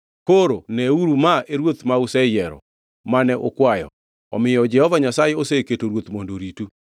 Koro neuru ma e ruoth ma useyiero, mane ukwayo; omiyo Jehova Nyasaye oseketo ruoth mondo oritu.